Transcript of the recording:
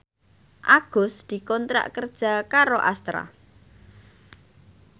Agus dikontrak kerja karo Astra